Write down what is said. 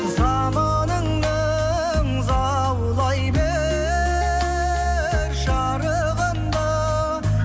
заманыңның заулай бер шарығында